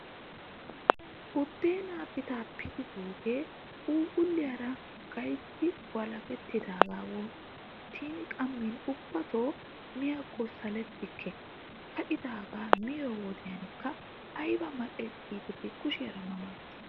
Buddeenaa pitaapitidoogee phuuphulliyaayra gayitti walakettidaagaa wonttin qammin ubbatoo miyaakko salettikke. Ka'idaaga miyoo wodekka ayiba mal'es giideti kushiyaara ma ma ges.